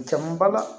Caman ba la